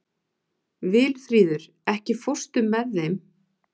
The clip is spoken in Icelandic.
Vilfríður, ekki fórstu með þeim?